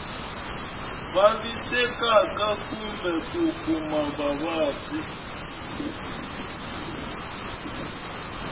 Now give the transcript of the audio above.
vavisekaka kumbe ku kuma vuvabyi